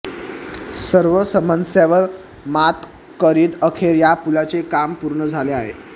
सर्व समस्यांवर मात करीत अखेर या पुलाचे काम पूर्ण झाले आहे